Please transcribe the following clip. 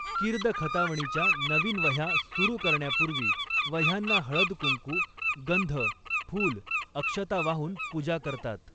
कीर्द खतावणीच्या नवीन वह्या सुरू करण्यापूर्वी वह्यांना हळद कुंकू, गंध, फूल, अक्षता वाहून पूजा करतात.